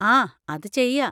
ആ, അത് ചെയ്യാ.